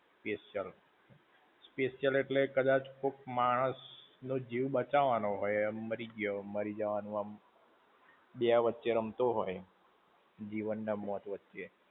Special. Special એટલે કદાચ કોક માણસ નો જીવ બચાવાનો હોય એમ મારી ગ્યો, મારી જવાનું એમ, બે વચ્ચે રમતો હોય, જીવન ને મોત વચ્ચે